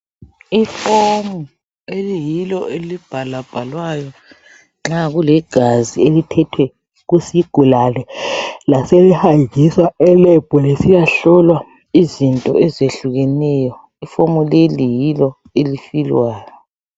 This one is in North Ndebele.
Ifomu eliyilo. elibhalwabhalwayo nxa kulegazi elithethwe kusigulane, laselihanjiswa eLab. Lisiyahlolwa. izinto ezehlukeneyo. Ifomu leli yilo, elfilwayo.